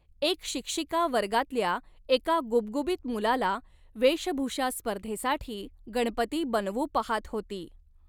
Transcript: एक शिक्षिका वर्गातल्या एका गुबगुबीत मुलाला वेषभूषास्पर्धेसाठी गणपती बनवू पहात होती.